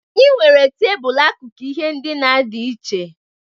Anyị nwere tebụl akụkụ ihe ndina dị iche.